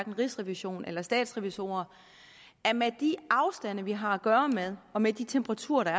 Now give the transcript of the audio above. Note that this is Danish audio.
rigsrevisionen eller statsrevisorerne at med de afstande vi har at gøre med og med de temperaturer der